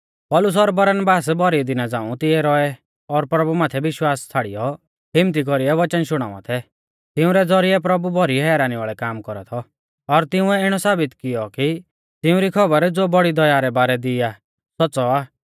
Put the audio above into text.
पौलुस और बरनबास भौरी दिना झ़ांऊ तिऐ रौऐ और प्रभु माथै विश्वास छ़ाड़ियौ हिम्मत्ती कौरीऐ वचन शुणावा थै तिंउरै ज़ौरिऐ प्रभु भौरी हैरानी वाल़ै काम कौरा थौ और तिंउऐ इणौ साबित किऔ कि तिउंरी खौबर ज़ो बौड़ी दया रै बारै दी आ सौच़्च़ौ आ